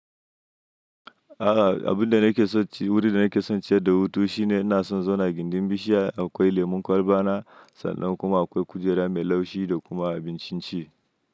A'a, abin da nake so ci, wuri da nake so ciye da wuta shine na so zan gina gindin bishiya akwai lemon kwalba na sanda kuma akwai kujera mai laushi da kuma abincin ci.